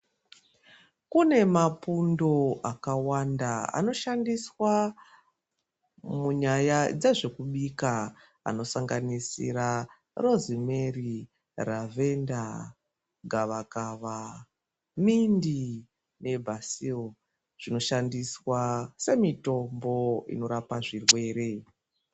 Kune mapundo akawanda anoshandiswq munyaya dzezvekubika anosanganisira rozimeri ravhenda gavakava mindi nebasewu zvinoshandiswa semitomboninorapa zvirwere.